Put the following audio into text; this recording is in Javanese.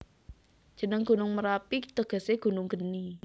Jeneng Gunung Merapi tegese Gunung Geni